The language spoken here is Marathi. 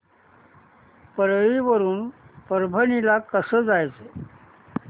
परळी वरून परभणी ला कसं जायचं